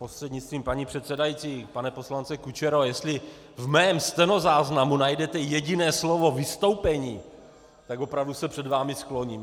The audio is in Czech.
Prostřednictvím paní předsedající pane poslanče Kučero, jestli v mém stenozáznamu najdete jediné slovo "vystoupení", tak opravdu se před vámi skloním.